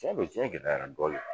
Cɛn don jiyɛn gɛlɛyara dɔɔni